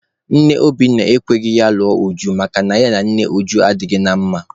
Nne Obinna ekweghị ya lụọ Uju makana ya na nne Uju adịghị na mma.